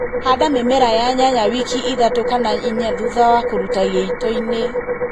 Handa mĩmera ya nyanya wiki ithatũ kana inya thutha wa kũruta gĩitoinĩ